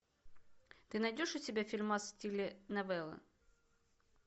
ты найдешь у себя фильмас в стиле новеллы